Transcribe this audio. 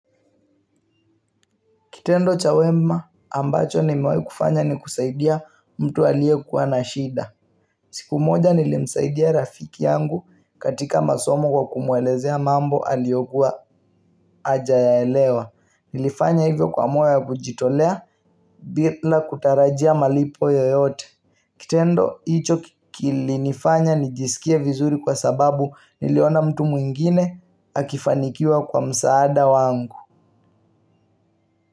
Kitendo cha wema ambacho nimewai kufanya ni kusaidia mtu alie kuwa na shida. Siku moja nilimsaidia rafiki yangu katika masomo kwa kumwelezea mambo aliokua ajayaelewa. Nilifanya hivyo kwa moyo ya kujitolea bila kutarajia malipo yoyote. Kitendo hicho kilifanya nijisikie vizuri kwa sababu niliona mtu mwingine akifanikiwa kwa msaada wangu.